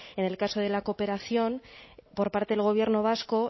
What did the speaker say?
el caso de la cooperación por parte del gobierno vasco